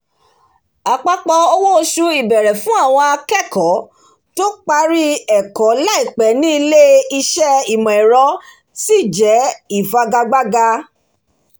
apapọ owó oṣù ìbẹ̀rẹ̀ fún àwọn akẹ́kọ̀ọ́ tó parí ẹ̀kọ́ laipẹ́ ní ilé-iṣẹ́ imọ̀-ẹrọ ṣi jẹ́ ifigagbaga